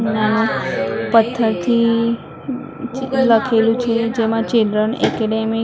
પથ્થરથી લખેલું છે જેમાં ચિલ્ડ્રન એકેડેમી --